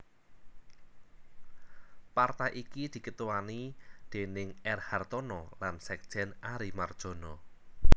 Partai iki diketuani déning R Hartono lan sekjen Ary Mardjono